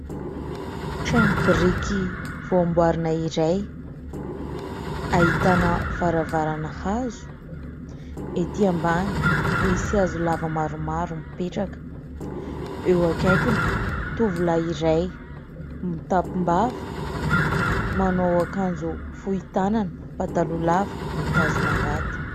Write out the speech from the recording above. Trano biriky voa amboarina iray ahitana varavarana hazo, ety ambany misy hazo lava maromaro mipetraka. Eo akaikiny, tovolahy iray mitapim-bava, manao akanjo fohy tanana, pataloha lava, mitazona angady.